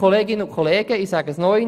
Ich sage es noch einmal: